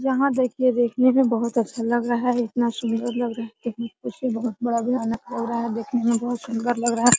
यहाँ देखिये देखने में बहुत अच्छा लग रहा है | इतना सुन्दर लग रहा है | बहुत बड़ा भयानक लग रहा है देखने में बहुत सुन्दर लग रहा है |